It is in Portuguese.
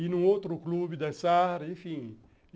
Ir num outro clube, dançar, enfim.